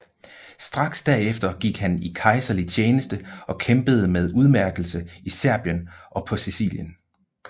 Straks derefter gik han i kejserlig tjeneste og kæmpede med udmærkelse i Serbien og på Sicilien